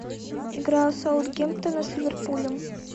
игра саутгемптона с ливерпулем